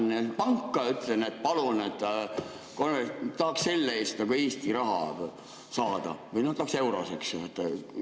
Kas ma lähen panka ja ütlen, et palun, tahaks selle eest saada Eesti raha või eurosid?